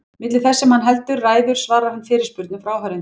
Milli þess sem hann heldur ræður svarar hann fyrirspurnum frá áheyrendum.